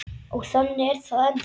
Og þannig er það ennþá.